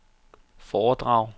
foredrag